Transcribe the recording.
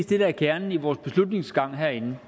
det der er kernen i vores beslutningsgange herinde